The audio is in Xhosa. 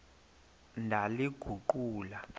ndaliguqula